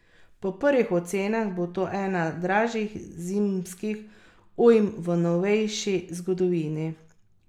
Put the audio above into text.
Po prvih ocenah bo to ena dražjih zimskih ujm v novejši zgodovini.